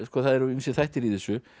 það eru ýmsir þættir í þessu